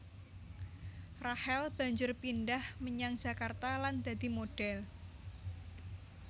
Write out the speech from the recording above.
Rachel banjur pindhah menyang Jakarta lan dadi modhèl